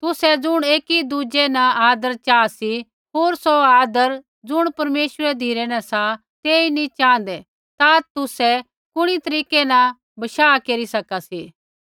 तुसै ज़ुण ऐकीदुज़ै न आदर चाहा सी होर सौ आदर ज़ुण परमेश्वरा धिरै न सा तेई नैंई च़ाँहदै ता तुसै कुणी तरीकै न बशाह केरी सका सी